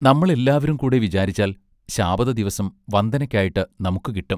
നമ്മൾ എല്ലാവരും കൂടെ വിചാരിച്ചാൽ ശാബത ദിവസം വന്ദനയ്ക്കായിട്ട് നമുക്കു കിട്ടും.